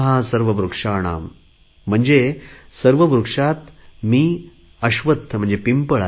सर्व वृक्षाणां म्हणजे सर्व वृक्षात मी पिंपळ आहे